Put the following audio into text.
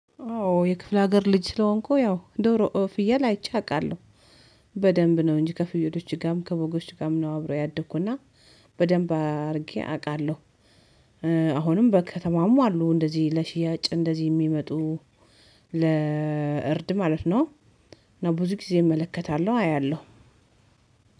አዎ የክፍለ ሀገር ልጅ ስለሆንኩ ያው ዶሮ ፍየል አይቼ አውቃለሁ በደንብ ነው እንጂ ከፍየሎች ጋርም ከበጎች ጋርም ነው አብሬው ያደኩ እና በደንብ አድርጌ አውቃለሁ። አሁንም በከተማም አሉ እንደዚህ ለሽያጭ እንደዚህ የሚመጡ ለእርድ ማለት ነው። እና ብዙ ጊዜ እመለከታለሁ አያለሁ።